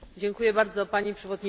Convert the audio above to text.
Pani Przewodnicząca!